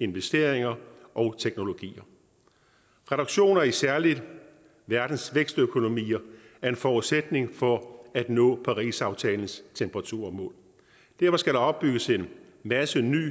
investeringer og teknologier reduktioner i særlig verdens vækstøkonomier er en forudsætning for at nå parisaftalens temperaturmål derfor skal der opbygges en masse ny